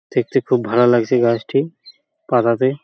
দেখেতে খুব ভালো লাগছে গাছটি পাতাতে ।